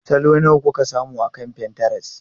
Salo nawa kuka samu akan Pinterest?